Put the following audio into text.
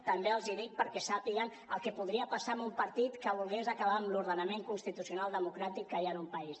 també els hi dic perquè sàpiguen el que li podria passar a un partit que volgués acabar amb l’ordenament constitucional democràtic que hi ha en un país